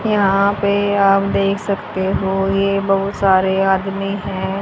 यहां पे आप देख सकते हो ये बहुत सारे आदमी हैं।